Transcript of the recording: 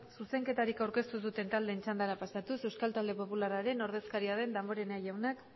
zuzenketarik aurkeztu ez duten taldeen txandara pasatuz euskal talde popularraren ordezkaria den damborenea jaunak